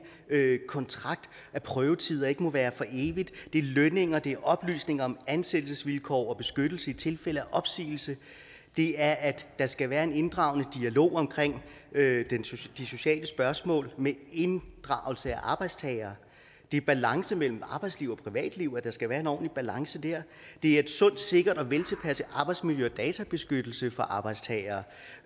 kontrakt at prøvetider ikke må være for evigt det er lønninger det er oplysninger om ansættelsesvilkår og beskyttelse i tilfælde af opsigelse det er at der skal være en inddragende dialog om de sociale spørgsmål med inddragelse af arbejdstagere det er balance mellem arbejdsliv og privatliv altså at der skal være en ordentlig balance dér det er et sundt sikkert og veltilpasset arbejdsmiljø og databeskyttelse for arbejdstagere